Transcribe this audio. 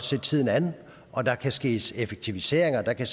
se tiden an og der kan ske effektiviseringer der kan